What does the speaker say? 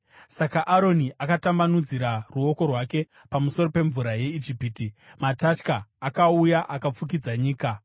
Saka Aroni akatambanudzira ruoko rwake pamusoro pemvura yeIjipiti, matatya akauya akafukidza nyika.